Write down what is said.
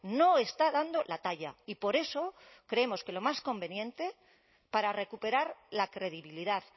no está dando la talla y por eso creemos que lo más conveniente para recuperar la credibilidad